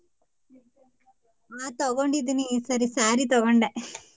ಹ ತಗೊಂಡಿದೀನಿ ಈ ಸರಿ saree ತಕೋಂಡೆ .